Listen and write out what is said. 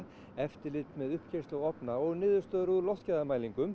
eftirlit með ofna og niðurstöður úr